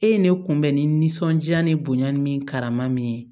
E ye ne kunbɛn ni nisɔndiya ni bonya ni min karama min ye